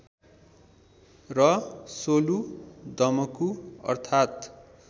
र सोलु दमकु अर्थात्